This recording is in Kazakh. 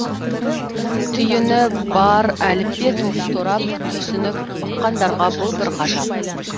түйіні бар әліппе тоғыз торап түйсініп ұққандарға бұл бір ғажап